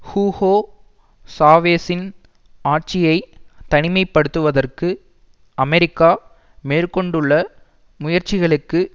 Hugo சாவேசின் ஆட்சியை தனிமைப் படுத்துவதற்கு அமெரிக்கா மேற்கொண்டுள்ள முயற்சிகளுக்கு